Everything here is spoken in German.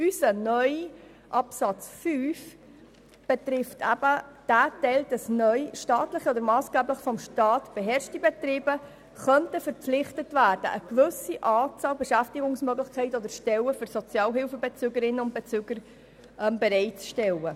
Unser neuer Absatz 5 betrifft den Teil, wonach neu staatliche oder massgeblich vom Staat beherrschte Betriebe verpflichtet werden könnten, eine gewisse Anzahl Beschäftigungsmöglichkeiten oder Stellen für Sozialhilfebezügerinnen und -bezüger bereitzustellen.